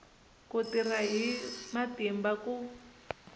ku tirha hi matimba ku